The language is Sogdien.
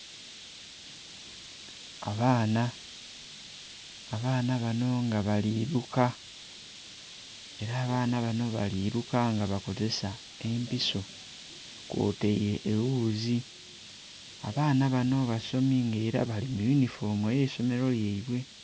Abaana, abaana bano nga bali luka era abaana bano bali luka nga bakozisa empiso kwotaire ewuuzi. Abaana bano basomi nga era bali muyunifoomu ey'eisomiro lyaibwe.